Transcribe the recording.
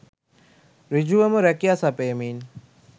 සෘඡුවම රැකියා සපයමින්